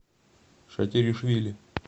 шатиришвили